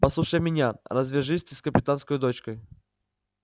послушайся меня развяжись ты с капитанскою дочкой